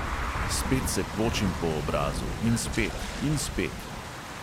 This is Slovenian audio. Spet se počim po obrazu, in spet, in spet.